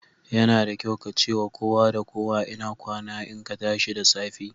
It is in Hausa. Yana da kyau ka ce wa kowa da kowa Inakwana in ka tashi da safe.